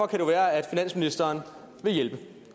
kan jo være at finansministeren vil hjælpe